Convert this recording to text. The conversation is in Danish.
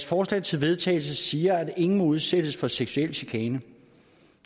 forslag til vedtagelse siger at ingen må udsættes for seksuel chikane